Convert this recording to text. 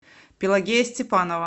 пелагея степанова